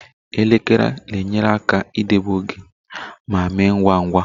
Elekere na-enyere aka idobe oge ma mee ngwa ngwa.